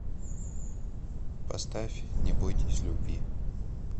поставь не бойтесь любви